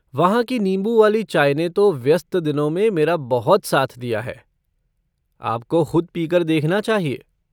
वहाँ की नींबू वाली चाय ने तो व्यस्त दिनों में मेरा बहुत साथ दिया है, आपको ख़ुद पीकर देखना चाहिए।